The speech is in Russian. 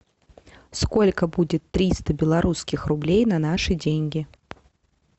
сколько будет триста белорусских рублей на наши деньги